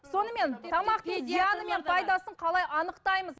сонымен тамақтың зияны мен пайдасын қалай анықтаймыз